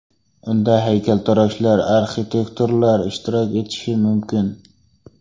Unda haykaltaroshlar, arxitektorlar ishtirok etishi mumkin.